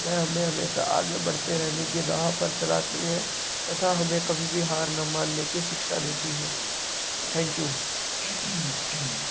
में हमे हमेशा आगे बढ़ते रहने की राह पर चलाती है तथा हमें कभी भी हार ना मानने की शिक्षा देती है। थैंक्यू